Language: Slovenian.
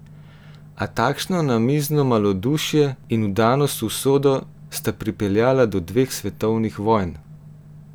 A takšno namizno malodušje in vdanost v usodo sta pripeljala do dveh svetovnih vojn!